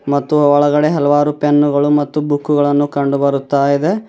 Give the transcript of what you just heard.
ಮತ್ತು ಒಳಗಡೆ ಹಲವಾರು ಪೆನ್ನುಗಳು ಮತ್ತು ಬುಕ್ಕು ಗಳನ್ನು ಕಂಡು ಬರುತ್ತದೆ.